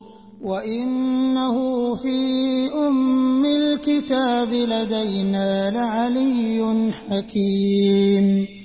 وَإِنَّهُ فِي أُمِّ الْكِتَابِ لَدَيْنَا لَعَلِيٌّ حَكِيمٌ